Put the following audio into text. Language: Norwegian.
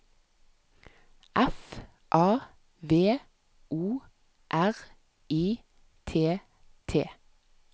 F A V O R I T T